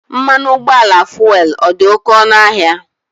Mmanụ ụgbọala fuelu ọ dị oké ọnụ ahịa?